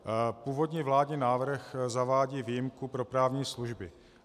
Původní vládní návrh zavádí výjimku pro právní služby.